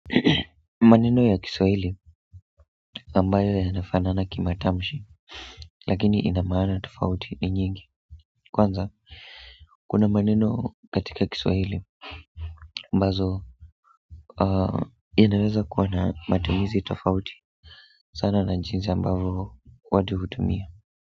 Maneno ya kiswahili ambayo yanafanana kimatamshi lakini ina maana tofauti ni nyingi kwanza kuna maneno katika kiswahili ambazo inaweza kuwa na matumizi tofauti sana na jinsi ambavyo watu hutumia.